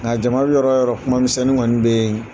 Nka jama bɛ yɔrɔ o yɔrɔ , kuma misɛnnin kɔni bɛ yen.